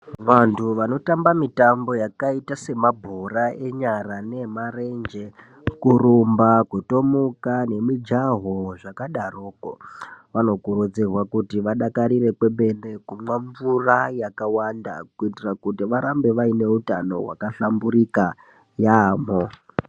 Vantu vanotamba mitambo yakaita semabhora enyara, nemarenge, kurumba kutomuka nemujaho dzakadarokwo vanokurudzirwa kuti vadakarire kwemene kumwa mvura yakawanda kuitira kuti varamba vaine utano wakahlamburuka yambo.